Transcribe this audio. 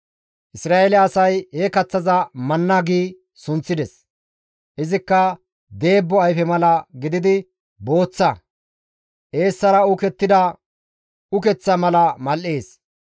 Isra7eele asay he kaththaza manna gi sunththides. Izikka deebbo ayfe mala gididi booththa; eessara uukettida ukeththa mala mal7ees.